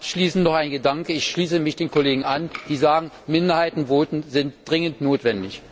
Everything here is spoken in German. Abschließend noch ein Gedanke Ich schließe mich den Kollegen an, die sagen, Minderheitenvoten sind dringend notwendig.